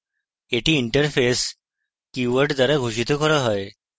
এটি interface keyword দ্বারা ঘোষিত করা হয়